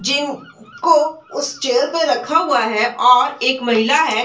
जिन को उस चेयर पर रखा हुआ है और एक महिला है।